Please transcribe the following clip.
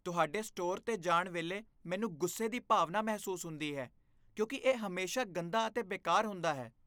ਤੁਹਾਡੇ ਸਟੋਰ 'ਤੇ ਜਾਣ ਵੇਲੇ ਮੈਨੂੰ ਗੁੱਸੇ ਦੀ ਭਾਵਨਾ ਮਹਿਸੂਸ ਹੁੰਦੀ ਹੈ ਕਿਉਂਕਿ ਇਹ ਹਮੇਸ਼ਾ ਗੰਦਾ ਅਤੇ ਬੇਕਾਰ ਹੁੰਦਾ ਹੈ।